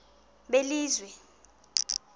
belizwe